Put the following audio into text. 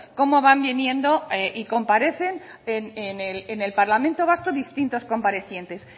cómo van viniendo y comparecen en el parlamento vasco distintos comparecientes